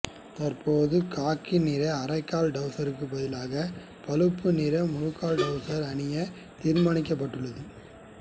தற்போது காக்கி நிற அரைக்கால் டவுசருக்கு பதிலாக பழுப்பு நிற முழுக்கால் டவுசர் அணிய தீர்மானிக்கப்பட்டுள்ளது